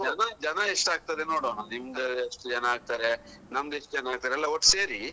ಜನ ಜನ ಎಷ್ಟಾಗ್ತದೆ ನೋಡ್ವಾ ನಿಮ್ದು ಏಷ್ಟು ಜನ ಆಗ್ತಾರೆ ನಮ್ದು ಎಷ್ಟು ಜನ ಆಗ್ತಾರೆ ಎಲ್ಲ ಒಟ್ಟು ಸೇರಿ.